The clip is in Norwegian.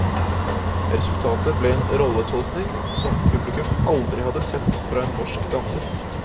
Resultatet ble en rolletolkning som publikum aldri hadde sett fra en norsk danser.